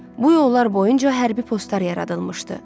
Bu yollar boyunca hərbi postlar yaradılmışdı.